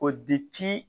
Ko